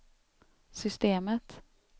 systemet